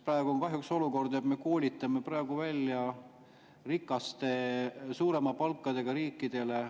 Praegu on kahjuks olukord, kus me koolitame meditsiinitöötajaid rikastele, suuremate palkadega riikidele.